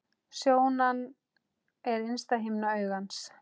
Sjónan er innsta himna augans.